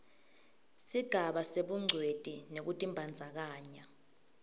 sigaba sebungcweti nekutibandzakanya